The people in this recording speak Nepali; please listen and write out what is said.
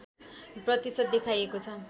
प्रतिशत देखाएको छ